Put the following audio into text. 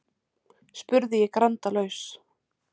spurði ég grandalaus.